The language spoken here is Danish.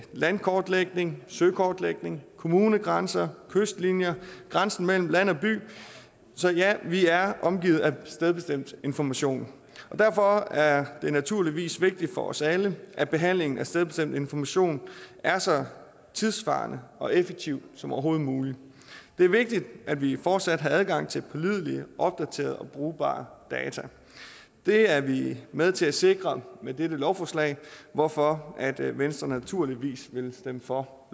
landkortlægning søkortlægning kommunegrænser kystlinjer og grænsen mellem land og by så ja vi er omgivet af stedbestemt information og derfor er det naturligvis vigtigt for os alle at behandlingen af stedbestemt information er så tidssvarende og effektiv som overhovedet muligt det er vigtigt at vi fortsat har adgang til pålidelige opdaterede og brugbare data det er vi med til at sikre med dette lovforslag hvorfor venstre naturligvis vil stemme for